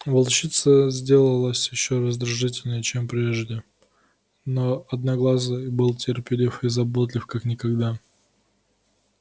волчица сделалась ещё раздражительнее чем прежде но одноглазый был терпелив и заботлив как никогда